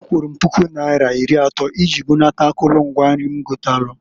Akwụrụ m pụku naira iri atọ iji bunata akụlụ mgwa nri m gotalụ.